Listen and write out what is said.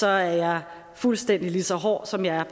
er jeg fuldstændig lige så hård som jeg er